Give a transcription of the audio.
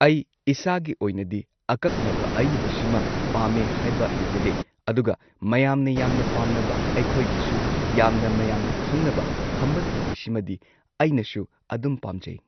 ꯑꯩ ꯏꯁꯥꯒꯤ ꯑꯣꯏꯅꯗꯤ ꯑꯀꯛꯅꯕ ꯑꯌꯤꯕꯁꯤꯃ ꯄꯥꯝꯃꯦ ꯍꯥꯏꯕ ꯂꯩꯖꯗꯦ ꯑꯗꯨꯒ ꯃꯌꯥꯝꯅ ꯌꯥꯝꯅ ꯄꯥꯝꯅꯕ ꯑꯩꯈꯣꯢꯒꯤꯁꯨ ꯌꯥꯝꯅ ꯃꯌꯥꯝꯅ ꯈꯪꯅꯕ ꯈꯝꯕ ꯊꯣꯏꯕꯤꯁꯤꯃꯗꯤ ꯑꯩꯅꯁꯨ ꯑꯗꯨꯝ ꯄꯥꯝꯖꯩ꯫